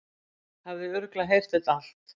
Hafði örugglega heyrt þetta allt.